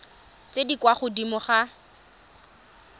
tse di kwa godimo ga